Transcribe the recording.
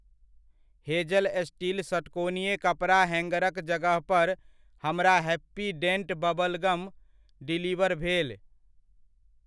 Hazel steel षट्कोणीय कपड़ा हैङ्गरक जगहपर हमरा हैप्पी डेन्ट बबलगम डिलीवर भेल।